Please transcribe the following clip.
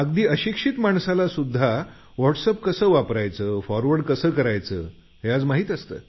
अगदी अशिक्षित माणसाला सुध्दा व्हॉटसएप कसं फॉरवर्ड करायचं हे माहीत आहे